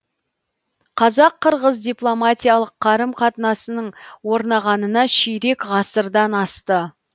қазақ қырғыз дипломатиялық қарым қатынасының орнағанына ширек ғасырдан асты